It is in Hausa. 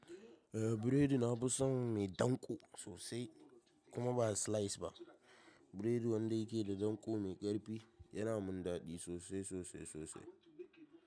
Eh biredi nafi son mai danko sosai kuma ba slice ba. Biredin wanda yake da danko mai ƙarfi yana mun daɗi sosai sosai sosai.